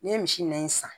N'i ye misi nɛgɛn san